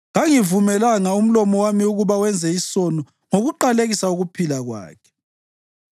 kangivumelanga umlomo wami ukuba wenze isono ngokuqalekisa ukuphila kwakhe,